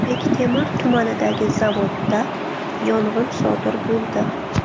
Bektemir tumanidagi zavodda yong‘in sodir bo‘ldi.